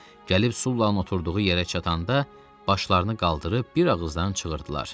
Gəlib Sullanın oturduğu yerə çatanda başlarını qaldırıb bir ağızdan çığırdılar.